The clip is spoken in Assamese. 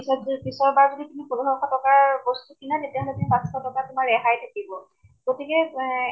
পিছত পিছৰ বাৰ তুমি পোন্ধৰশ টকাৰ বস্তু কিনা তেতিয়া সতি তেতিয়া তোমাৰ পাচঁশ টকা ৰেহাই থাকিব । গতিকে এ